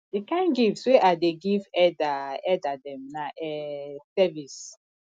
di kain gift wey i dey give elda elda dem na um service